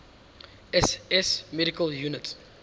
ss medical units